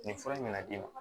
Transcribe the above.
Nin fura in bɛna d'i ma